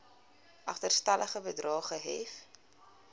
agterstallige bedrae gehef